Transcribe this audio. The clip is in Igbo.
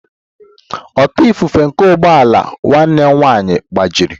ọta ifufe nke ụgbọ ala nwanne m nwanyị gbajiri